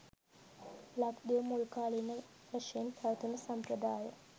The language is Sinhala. ලක්දිව මුල්කාලීන වශයෙන් පැවතුණු සම්ප්‍රදාය